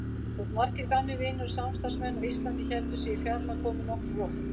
Þótt margir gamlir vinir og samstarfsmenn á Íslandi héldu sig í fjarlægð komu nokkrir oft.